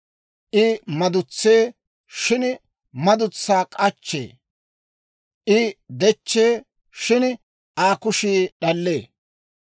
I madutsee, shin madutsaa k'achchee. I dechchee, shin Aa kushii d'allee.